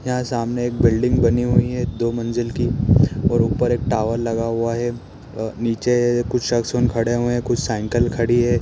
यहाँ सामने एक बिल्डिंग बनी हुई है दो मंज़िल की और ऊपर एक टावर लगा हुआ है नीचे कुछ शख़्सवन खड़े हुए हैं कुछ साइकिल खड़ी हैं।